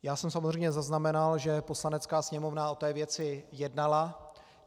Já jsem samozřejmě zaznamenal, že Poslanecká sněmovna o té věci jednala.